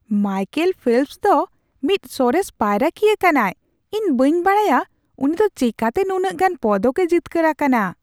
Michael Phelps ᱫᱚ ᱢᱤᱫ ᱥᱚᱨᱮᱥ ᱯᱟᱭᱨᱟᱠᱤᱭᱟᱹ ᱠᱟᱱᱟᱭ ᱾ ᱤᱧ ᱵᱟᱹᱧ ᱵᱟᱰᱟᱭᱟ ᱩᱱᱤ ᱫᱚ ᱪᱮᱠᱟᱛᱮ ᱱᱩᱱᱟᱹᱜ ᱜᱟᱱ ᱯᱚᱫᱚᱠᱼᱮ ᱡᱤᱛᱠᱟᱹᱨ ᱟᱠᱟᱱᱟ !